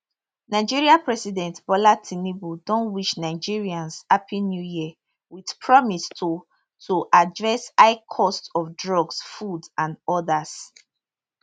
nigeria president bola tinubu don wish nigerians happy new year wit promise to to address high cost of drugs food and odas